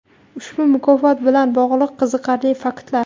Ushbu mukofot bilan bogʼliq qiziqarli faktlar.